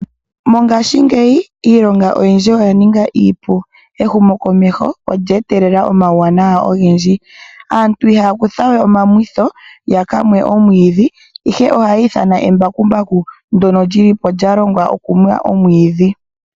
Mongashingeyi iilonga oyindji oya ninga iipu, ehumokomeho olya etelela omawuwanawa ogendji. Aantu ihaya kutha we omamwitho ya ka mwe omwiidhi ihe ohaya ithana embakumbaku ndyono lyili po lyalongwa okumwa omwiidhi.